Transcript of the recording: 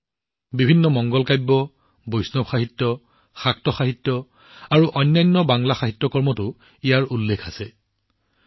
ই বিভিন্ন মংগলাকাব্য বৈষ্ণৱ সাহিত্য শাক্ত সাহিত্য আৰু অন্যান্য বাংলা সাহিত্যত স্থান পাইছে